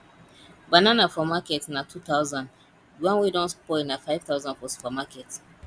banana for market na 2000 the one wey don spoil na 5000 for supermarket